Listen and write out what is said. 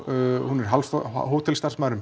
hún er